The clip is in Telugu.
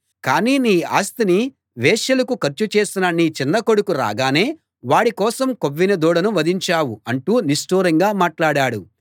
కానీ నీ ఆస్తిని వేశ్యలకు ఖర్చు చేసిన నీ చిన్న కొడుకు రాగానే వాడి కోసం కొవ్విన దూడను వధించావు అంటూ నిష్టూరంగా మాట్లాడాడు